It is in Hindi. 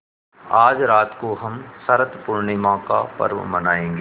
आज रात को हम शरत पूर्णिमा का पर्व मनाएँगे